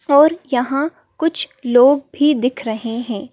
और यहाँ कुछ लोग भी दिख रहे हैं।